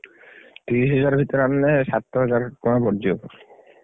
ତିରିଶିହଜାର ଭିତରେ ଆଣିଲେ, ସାତହଜାର ଟଙ୍କା ପଡିଯିବ।